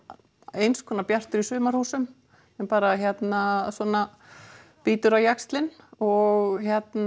eins konar Bjartur í sumarhúsum sem bara svona bítur á jaxlinn og